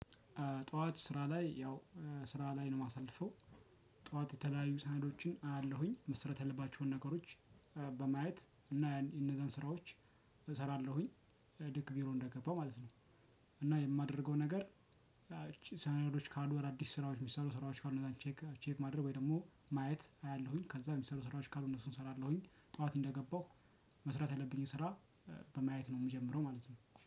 ጠዋት ስራ ላይ ያው ስራ ላይ ነው የማሳልፈው ጠዋት የተለያዩ ሳህኖችን አያለሁኝ። መሰራትያለባቸውን ነገሮች በማየት እና ያን የነገን ስራዎች እሰራለሁኝ። ልክ ቢሮ እንደገባው ማለት ነው። እና የማደርገው ነገር ይቺ ሰነዶች ካሉ አዲስ ስራዎች የሚሰሩ ስራዎች ካሉ 'ቼክ ቼክ' ማድረግ ወይ ደግሞ ማየት አያለሁኝ ከዛ የሚሰሩ ስራዊች ካሉ እነሱን እሰራለሁኝ። ጠዋት እንደገባሁ መስራት ያለብኝን ስራ በማየት ነው የምጀምረው ማለት ነው።